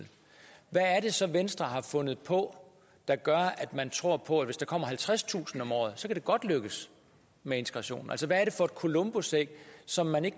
hvad er det så venstre har fundet på der gør at man tror på at hvis der kommer halvtredstusind om året så kan det godt lykkes med integrationen altså hvad er det for et columbusæg som man ikke